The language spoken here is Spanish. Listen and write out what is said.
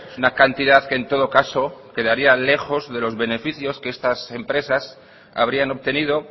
una cantidad que en todo caso quedaría lejos de los beneficios que estas empresas habrían obtenido